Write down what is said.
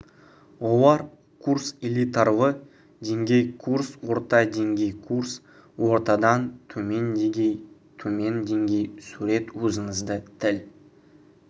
олар курс элитарлы деңгей курс орта деңгей курс ортадан төмен деңгей төмен деңгей сурет өзіңізді тіл